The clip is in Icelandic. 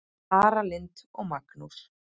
Tara Lynd og Magnús.